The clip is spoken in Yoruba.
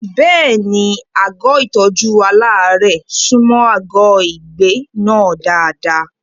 Bẹ́ẹ̀ni, àgọ́ ìtọ́jú aláàárẹ̀ súnmọ́ àgọ́ ìgbé náà dáadáa.